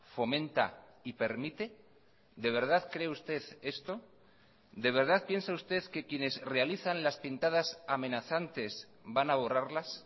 fomenta y permite de verdad cree usted esto de verdad piensa usted que quienes realizan las pintadas amenazantes van a borrarlas